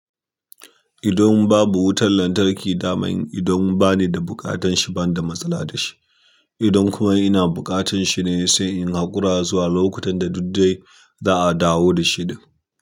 Idan babu wutar lantarki daman idan bani da buƙatar shi ban da matsala da shi. Idan kuma ina buƙatar shi ne sai in haƙura zuwa lokutan da duk dai za'a dawo da shi.